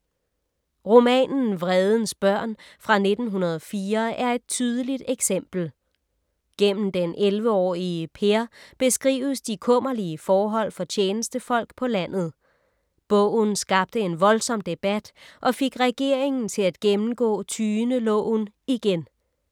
Romanen Vredens børn fra 1904 er et tydeligt eksempel. Gennem den 11-årige Per beskrives de kummerlige forhold for tjenestefolk på landet. Bogen skabte en voldsom debat og fik regeringen til at gennemgå tyendeloven igen.